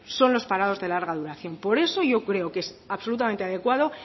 son los parados de larga duración por eso yo creo que es absolutamente adecuado